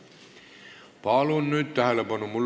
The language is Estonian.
Palun nüüd tähelepanu!